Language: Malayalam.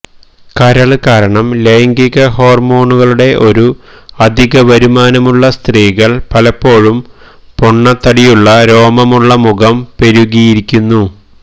കരള് കാരണം ലൈംഗിക ഹോർമോണുകളുടെ ഒരു അധികവരുമാനമുള്ള സ്ത്രീകൾ പലപ്പോഴും പൊണ്ണത്തടിയുള്ള രോമമുള്ള മുഖം പെരുകിയിരിക്കുന്നു